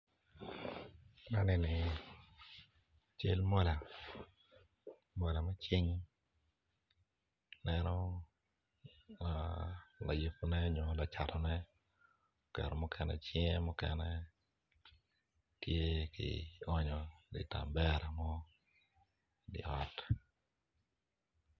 Man enini cel mola mola me cing aneno layubune nyo lacatone oketo mukene cinge mukene tye ki oonyo i tebera mo i di ot